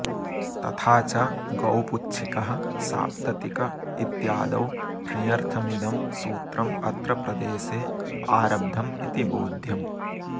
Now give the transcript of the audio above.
तथा च गौपुच्छिकः साप्ततिक इत्यादौ ठञर्थमिदं सूत्रमत्र प्रदेशे आरब्धमिति बोध्यम्